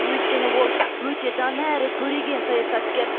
өйткені ол өте дана әрі көреген саясаткер